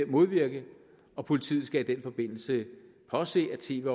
modvirke og politiet skal i den forbindelse påse at tv